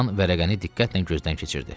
Kapitan vərəqəni diqqətlə gözdən keçirdi.